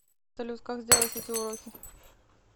салют как сделать эти уроки